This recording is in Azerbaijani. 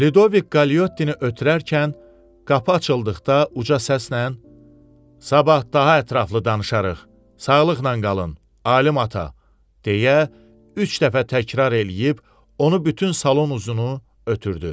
Lüdovik Kalottini ötürərkən qapı açıldıqda uca səslə: "Sabah daha ətraflı danışarıq. Sağlıqla qalın, Alim ata!" deyə üç dəfə təkrar eləyib, onu bütün salon uzunu ötürdü.